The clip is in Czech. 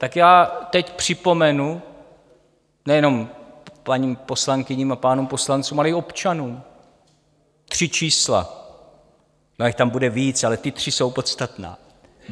Tak já teď připomenu, nejenom paním poslankyním a pánům poslancům, ale i občanům, tři čísla - ono jich tam bude víc, ale ta tři jsou podstatná.